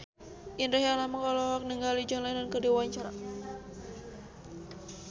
Indra Herlambang olohok ningali John Lennon keur diwawancara